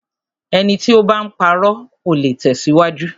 Ẹni tí o bá ń parọ́, ò le tẹ̀síwájú.